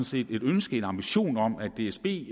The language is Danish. set et ønske en ambition om at dsb